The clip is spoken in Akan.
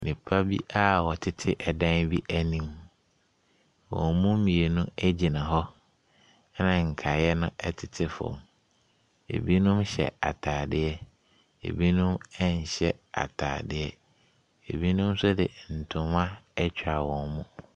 Nnipa bi a wɔtete ɛdan bi anim. Wɔn mu mmienu gyina hɔ, a nkaeɛ no tete famk. Ɛbinom hyɛ atadeɛ, ɛbinomnhyɛ atadeɛ. Ɛbinom nso de ntoma atwa wɔn mu.